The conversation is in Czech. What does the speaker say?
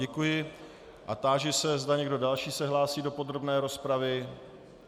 Děkuji a táži se, zda někdo další se hlásí do podrobné rozpravy.